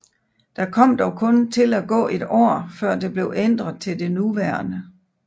Der kom dog kun til at gå et år før det blev ændret til det nuværende